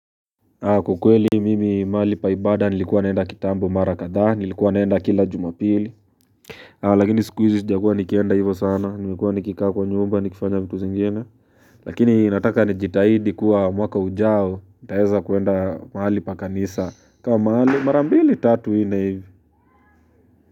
Kwa kweli mimi mahali pa ibada nilikuwa naenda kitambo mara kadha nilikuwa naenda kila jumapili lakini siku izi sijakuwa nikienda hivo sana nikikuwa nikika kwa nyumba nikifanya mtu zingina lakini nataka nijitaidi kuwa mwaka ujao nitaeza kuenda mahali pa kanisa kama mahali mara mbili tatu nne hivi.